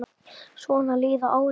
Svona líða árin.